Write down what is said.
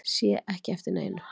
Sé ekki eftir neinu